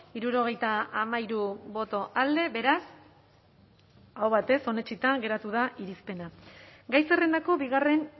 hirurogeita hamairu boto alde beraz aho batez onetsita geratu da irizpena gai zerrendako bigarren